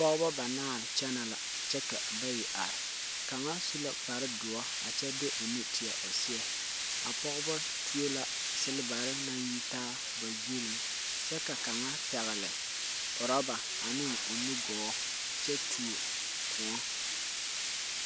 Pɔgba banaare kyene la kye ka bayi arẽ kanga su la kpare duu a kye de ɔ nu teɛ ɔ seɛ a pɔgba tuo la silbare nang yitaa ba zuri kye ka kang pɛgli rubar ane ɔ nu gɔɔ kye tuo kou.